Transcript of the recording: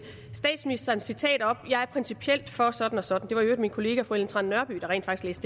statsministerens citat op jeg er principielt for sådan og sådan det var i øvrigt min kollega fru ellen trane nørby der rent faktisk